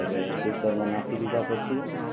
હવે કુકર મા નાખી દીધા પછી